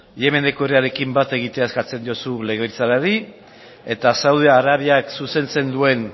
yemeneko herriarekin bat egitea eskatzen diozu legebiltzarrari eta saudi arabiak zuzentzen duen